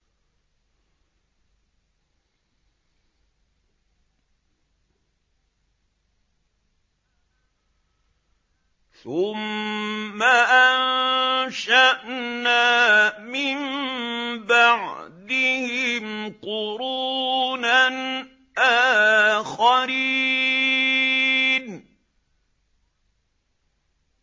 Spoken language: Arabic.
ثُمَّ أَنشَأْنَا مِن بَعْدِهِمْ قُرُونًا آخَرِينَ